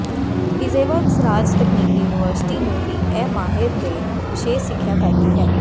Izhevsk ਰਾਜ ਤਕਨੀਕੀ university ਨੂੰ ਵੀ ਇਹ ਮਾਹਿਰ ਦੇ ਵਿਸ਼ੇਸ਼ ਸਿੱਖਿਆ ਕਰਦੀ ਹੈ